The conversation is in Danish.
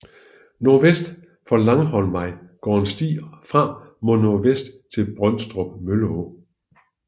Nordvest for Langholmvej går en sti fra mod nordvest til Brøndstrup Mølleå